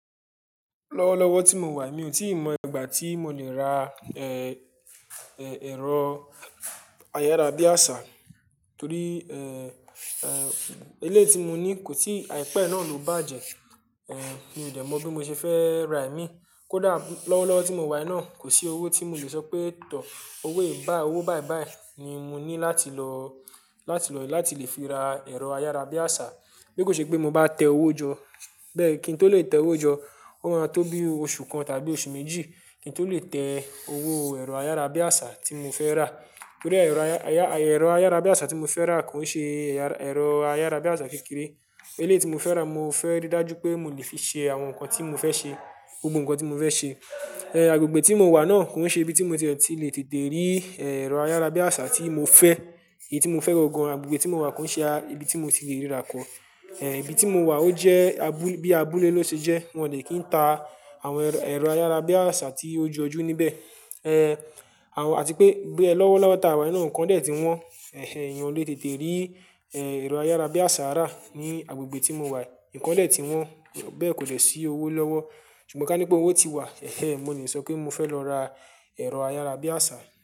Lọ́wọ́lọ́wọ́ tí mo wà mi ò tí ì mọ ìgbà tí mo lè ra, ẹ̀rọ ayárabíàṣá torí, eleyi tí mo ní kò tí àìpẹ́ náà ló bàjẹ́. Mi ò dẹ̀ mọ̀ bí mo ṣe fẹ́ rà ìmí. Kódà lọ́wọ́lọ́wọ́ tí mo wà yii náà kò sí owó tí mo lè sọ pé tọ̀, owó ìbá, owó bàìbàì ni mo ní láti lọ, láti lọ, láti lè fi ra ẹ̀rọ ayárabíàṣá. Bí kò ṣe pé mo bá tẹ owó jọ, bẹ́ẹ̀ kí n tó lè tẹ owó jọ ó máa tó bí oṣù kan tàbí oṣù méjì kí n tó lè tẹ owó ẹ̀rọ ayárabíàṣá tí mo fẹ́ rà. Torí ẹ̀rọ aya, aya, ẹ̀rọ ayárabíàṣá tí mo fẹ́ rà kò ṣe ẹ̀ya, ẹ̀rọ ayárabíàṣá kékeré. Eleyi tí mo fẹ́ rà mo fẹ́ rí dájú pé mo lè fi ṣe àwọn nǹkan tí mo fẹ́ ṣe, gbogbo nǹkan tí mo fẹ́ ṣe. Agbègbè tí mo wà náà kò ṣe ibi tí mo ti lè tètè rí, ẹ̀rọ ayárabíàṣá tí mo fẹ́. Èyí tí mo fẹ́ ro gan agbègbè tí mo wà kò ṣe ibi tí mo ti lè ríra kọ́. Ibi tí mo wà ó jẹ́ abu-bí abúlé ló ṣe jẹ́. Wọn ò dè kí ń ta àwọn ẹ̀rọ, ẹ̀rọ ayárabíàṣá tí ó ju ojú níbẹ̀. Àwọn, àti pé bí ẹ lọ́wọ́lọ́wọ́ ta wà náà nǹkan dẹ̀ tí wọ́n, ẹ́hẹ́hn, èèyàn o lè tètè rí, ẹ̀rọ ayárabíàṣá rà ní agbègbè tí mo wà. Ǹkan dẹ̀ tí wọ́n bẹ́ẹ̀ kò dẹ̀ sí owó lọ́wọ́. Ṣùgbọ́n ká ní pé owó ti wà, ẹ́hẹ́hn, mo ní lè sọ pé mo fẹ́ lọ ra ẹ̀rọ ayárabíàṣá.